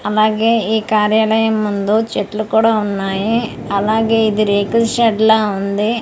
అలాగే ఈ కార్యాలయం ముందు చెట్లు కూడా ఉన్నాయి అలాగే ఇది రేకుల షెడ్ లా ఉంది తార--